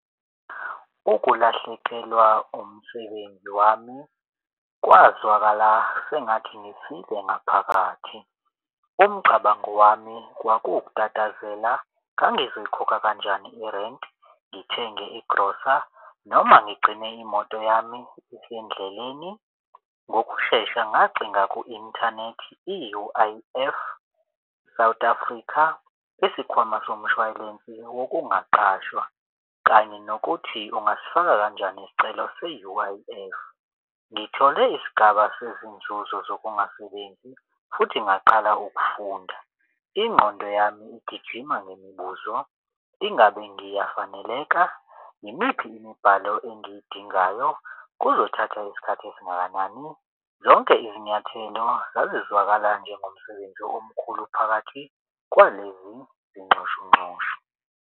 Ukulahlekelwa umsebenzi wami kwazwakala sengathi ngifile ngaphakathi. Umcabango wami kwakutatazela, ngangizikhokha kanjani irenti, ngithenge igrosa, noma ngigcine imoto yami isendleleni. Ngokushesha ngacinga ku-inthanethi i-U_I_F South Africa, isikhwama somshwalense wokungaqashwa kanye nokuthi ungasifaka kanjani isicelo seU_I_F. Ngithole isigaba sezinzuzo zokungasebenzi, futhi ngaqala ukufunda. Ingqondo yami igijima ngemibuzo. Ingabe ngiyafaneleka? Yimiphi imibhalo engiyidingayo? Kuzothatha isikhathi esingakanani? Zonke izinyathelo zazizwakala njengomsebenzi omkhulu phakathi kwalezi zinxushunxushu.